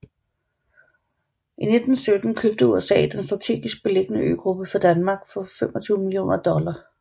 I 1917 købte USA den strategisk beliggende øgruppe fra Danmark for 25 millioner dollar